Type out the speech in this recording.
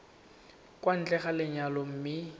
kwa ntle ga lenyalo mme